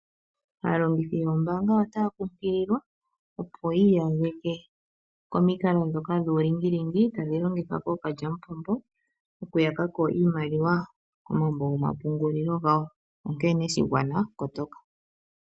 Aalongithi yoombaanga otaya kunkililwa, opo yi iyageke komikalo ndhoka dhuulingilingi tadhi longithwa kookalyamupombo okuyaka ko iimaliwa komambo gomapungulilo gawo, onkene shigwana kotoka.